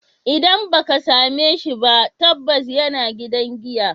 Idan ba ka same shi ba, tabbas yana gidan giya.